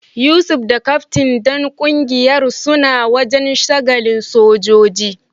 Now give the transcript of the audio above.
Yusuf da kaftin dan kungiyar suna wajen sagalin sojoji.